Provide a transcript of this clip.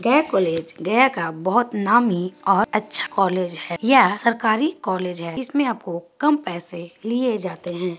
गया कॉलेज गया का बहुत नामी और अच्छा कॉलेज हैं यह सरकारी कॉलेज हैं इसमें आपको कम पैसे लिए जाते हैं।